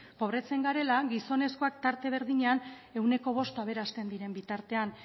pobretzen garela gizonezkoak tarte berdinean ehuneko bost aberasten diren bitartean